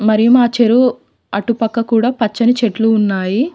మరియు మా చెరువు అటుపక్క కూడా పచ్చని చెట్లు ఉన్నాయి.